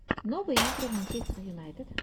новые игры манчестер юнайтед